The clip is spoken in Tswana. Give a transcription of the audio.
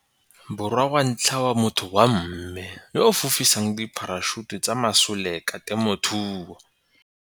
Borwa wa ntlha wa motho wa mme yo a fofisang dipharašuta tsa masoleka temothuo.